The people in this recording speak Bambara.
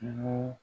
Kungo